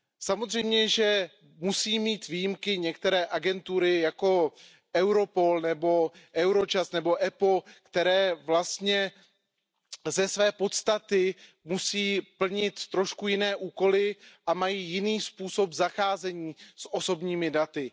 Samozřejmě, že musí mít výjimky některé agentury, jako Europol, Eurojust nebo EUIPO, které vlastně ze své podstaty musí plnit trošku jiné úkoly a mají jiný způsob zacházení s osobními daty.